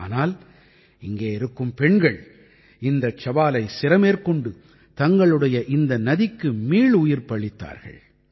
ஆனால் இங்கே இருக்கும் பெண்கள் இந்தச் சவாலை சிரமேற்கொண்டு தங்களுடைய இந்த நதிக்கு மீளுயிர்ப்பளித்தார்கள்